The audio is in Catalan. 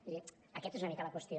vull dir aquesta és una mica la qüestió